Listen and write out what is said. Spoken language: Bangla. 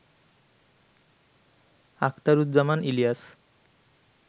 আখতারুজ্জামান ইলিয়াস